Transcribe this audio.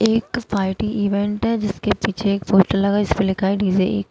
एक party event है जिसके पीछे एक पोस्टर लगा है जिसपे लिखा है डी_जे ।